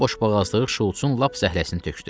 Onun boşboğazlığı Şults-un lap zəhləsini tökdü.